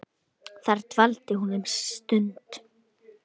Þar dvaldi hún um stund.